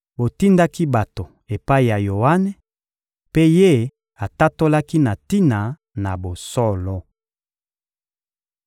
Botindaki bato epai ya Yoane, mpe ye atatolaki na tina na bosolo.